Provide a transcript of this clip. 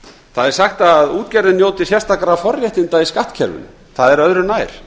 það er sagt að útgerðin njóti sérstakra forréttinda í skattkerfinu það er öðru nær